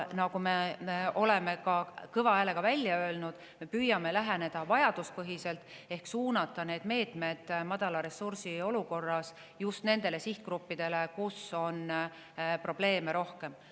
Me oleme ka kõva häälega välja öelnud, et püüame läheneda vajaduspõhiselt: madala ressursi olukorras suuname meetmed just nendele sihtgruppidele, kel on probleeme rohkem.